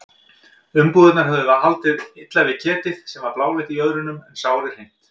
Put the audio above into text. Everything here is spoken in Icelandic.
Umbúðirnar höfðu haldið illa við ketið sem var bláleitt í jöðrunum en sárið hreint.